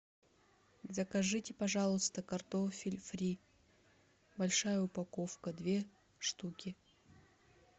закажите пожалуйста картофель фри большая упаковка две штуки